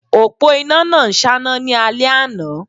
Òpó iná náà ń ṣáná ní alẹ́ àná